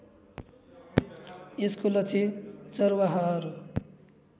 यसको लक्ष्य चरवाहहरू